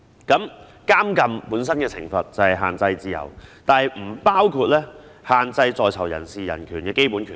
監禁本身的懲罰是限制自由，但不包括限制在囚人士的人權和基本權利。